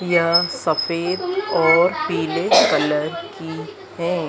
यहां सफेद और पीले कलर की है।